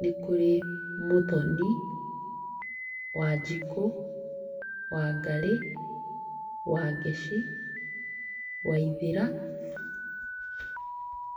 nĩkũrĩ Mũthoni, Wanjikũ, Wangarĩ, Wangeci, Waithera.